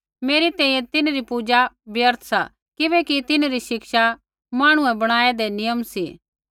मेरी तैंईंयैं तिन्हरी पूजा व्यर्थ सा किबैकि तिन्हरी शिक्षा मांहणुऐ बणाऐदै नियम सी